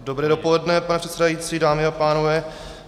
Dobré dopoledne, pane předsedající, dámy a pánové.